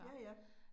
Ja ja